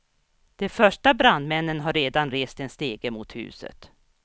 De första brandmännen har redan rest en stege mot huset.